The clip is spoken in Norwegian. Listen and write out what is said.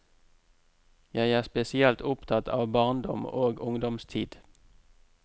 Jeg er spesielt opptatt av barndom og ungdomstid.